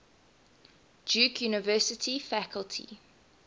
duke university faculty